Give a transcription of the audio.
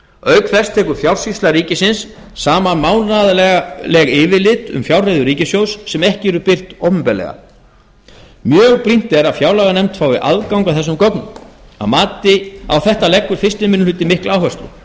auk þess tekur fjársýsla ríkisins saman mánaðarleg yfirlit um fjárreiður ríkissjóðs sem ekki eru beint opinberlega mjög brýnt er að fjárlaganefnd fái aðgang að þessum gögnum á þetta leggur fyrsti minnihluti mikla áherslu